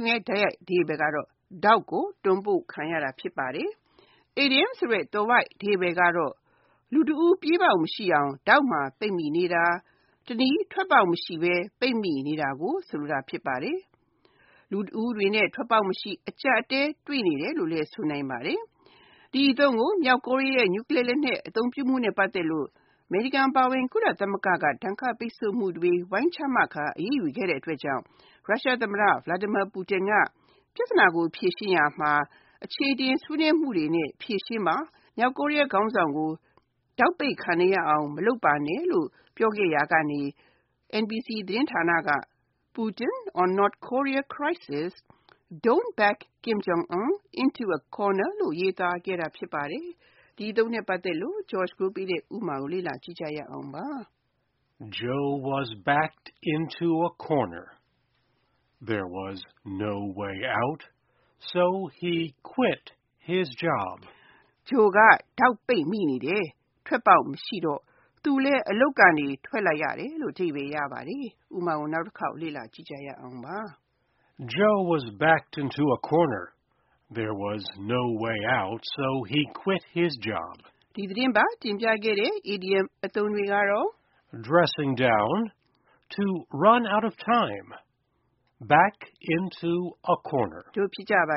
းရဲ့ တိုက်ရိုက်အဓိပ္ပါယ်က ထောင့်ကို တွန်းပို့ခံရတာ ဖြစ်ပါတယ်။ အီဒီယံသွယ်ဝိုက်အဓိပ္ပါယ်က လူတဦး ပြေးပေါက်မရှိအောင် ထောင့်မှာပိတ်မိနေတာ၊ တနည်းထွက်ပေါက်မရှိဘဲ၊ ပိတ်မိနေတာကို ဆိုလိုတာ ဖြစ်ပါတယ်။ လူတဦးအနေနဲ့ ထွက်ပေါက်မရှိ၊ အကျပ်အတည်း တွေ့နေတယ်လို့လည်း ဆိုနိုင်ပါတယ်။ ဒီအသုံးကို မြောက်ကိုရီးယား နျူကလီးယားလက်နက် အသုံးပြုမှုနဲ့ ပတ်သက်လို့ အမေရိကန်အပါအဝင် ကုလသမဂ္ဂတို့က ဒဏ်ခတ်ပိတ်ဆို့မှုတွေ ဝိုင်းချမှတ် အရေးယူခဲ့တဲ့အတွက်ကြောင့် ရုရှားသမ္မတ Vladimir Putin က ပြဿနာကို ဖြေရှင်းရာမှာ အချေအတင် ဆွေးနွေးမှုတွေနဲ့ ဖြေရှင်းပါ။ မြောက်ကိုရီးယားခေါင်းဆောင်ကို ထောင့်ပိတ်ခံနေရအောင် မလုပ်ပါနဲ့လို့ ပြောခဲ့ရကနေ NBC သတင်းဌာနက Putin on North Korea crisis: Don't back Kim Jong-un into a corner လို့ ရေးသားခဲ့တာ ဖြစ်ပါတယ်။ဒီအသုံးနဲ့ပတ်သက်တဲ့ ဥပမာကို လေ့လာကြည့်ရအောင်ပါ။ Joe was backed into a corner. There was no way out so he quit his job. Joe က ထောင့်ပိတ်မိနေတယ်။ ထွက်ပေါက်မရှိတော့ သူလည်း အလုပ်ကနေ ထွက်လိုက်ရတယ်။ ဒီသတင်းပတ် တင်ပြခဲ့တဲ့ idioms အသုံးတွေက Dressing down, To run out of time နဲ့ Back into a corner တို့ ဖြစ်ကြပါ